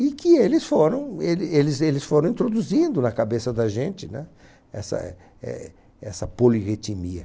E que eles foram ele eles eles foram introduzindo na cabeça da gente essa éh essa polirritimia.